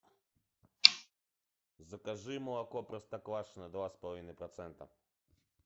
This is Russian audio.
закажи молоко простоквашино два с половиной процента